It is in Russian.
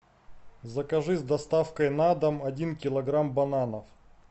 закажи с доставкой на дом один килограмм бананов